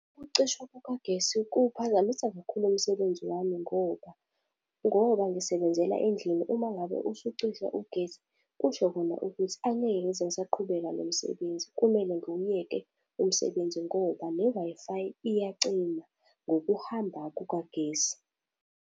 Ukucishwa kukagesi kuphazamisa kakhulu umsebenzi wami ngoba, ngoba ngisebenzela endlini uma ngabe usucisha ugesi, kusho khona ukuthi angeke ngize ngisaqhubeka nomsebenzi, kumele nguyeke umsebenzi ngoba ne-Wi-Fi iyacima ngokuhamba kukagesi.